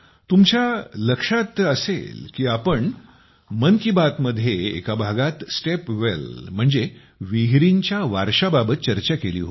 तुमच्या लक्षात असेल की आपण मन की बात मध्ये एका भागात स्टेप वेल म्हणजे विहिरींच्या वारशाबाबत चर्चा केली होती